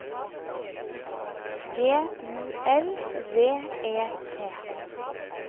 G U L V E T